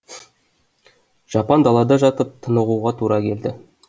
жапан далада жатып тынығуға тура келді